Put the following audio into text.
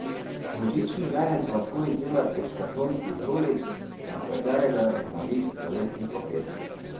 Božični venec lahko izdelate iz kartonskih rolic, na katerega je navit toaletni papir.